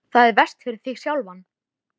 Það er verst fyrir þig sjálfan.